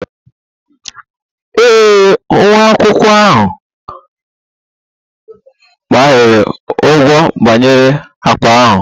Ee e, nwa akwụkwọ ahụ ghaara ụgha banyere akpa ahụ